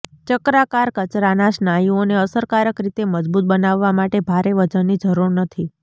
ચક્રાકાર કચરાના સ્નાયુઓને અસરકારક રીતે મજબૂત બનાવવા માટે ભારે વજનની જરૂર નથી